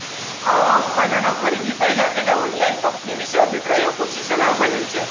આવા ઉત્પાદનો ખરીદી પહેલાં તેને ઑનલાઇન કંપની વિશે અભિપ્રાયો પૂછી સલાહભર્યું છે